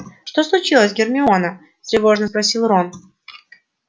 что случилось гермиона встревоженно спросил рон